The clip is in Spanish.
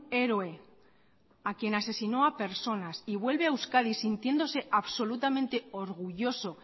héroe a quien asesinó a personas y vuelve a euskadi sintiéndose absolutamente orgulloso